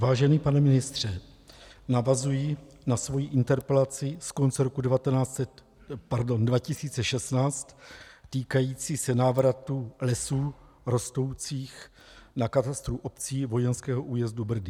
Vážený pane ministře, navazuji na svoji interpelaci z konce roku 2016 týkající se návratu lesů rostoucích na katastru obcí vojenského újezdu Brdy.